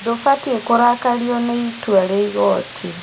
Ndũbatie kũrakario nĩ itua rĩa igoti